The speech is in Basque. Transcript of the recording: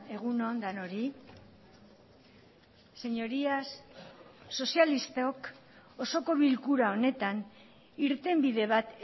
egun on denoi señorías sozialistok osoko bilkura honetan irtenbide bat